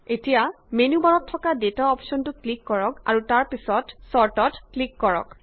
এতিয়া মেন্যু বাৰত থকা ডেটা অপশ্যনটো ক্লিক কৰক আৰু তাৰ পাছত ছৰ্টত ক্লিক কৰক